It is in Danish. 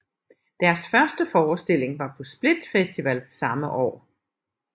Deres første forestilling var på Split Festival samme år